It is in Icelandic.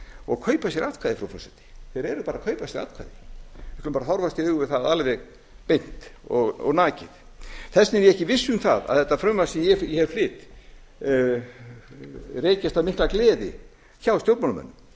og kaupa sér atkvæði frú forseti þeir eru bara að kaupa sér atkvæði við skulum bara horfast í augu við það alveg beint og nakið þess vegna er ég ekki viss um að þetta frumvarp sem ég flest ekki mikla gleði hjá stjórnmálamönnum